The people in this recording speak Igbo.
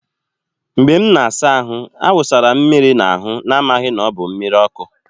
Mgbe m na-asa ahụ, a wụsara m mmiri n'ahụ n'amaghị na ọ bụ mmiri ọkụ.